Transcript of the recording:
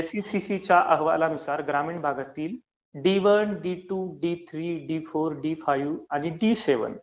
एसइसीसीच्या अहवालानुसार ग्रामीण भागातील D one, D two, D three, D four, D five आणि डी सेव्हन